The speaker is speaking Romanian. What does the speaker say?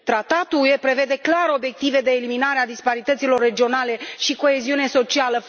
Tratatul UE prevede clar obiective de eliminare a disparităților regionale și coeziune socială.